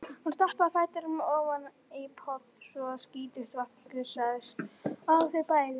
Hún stappaði fætinum ofan í poll svo að skítugt vatnið gusaðist á þau bæði.